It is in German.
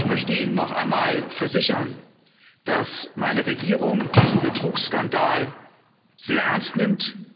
Ich möchte Ihnen noch einmal versichern, dass meine Regierung diesen Betrugsskandal sehr ernst nimmt.